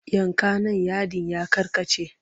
Yanka nan yadin ya karkace!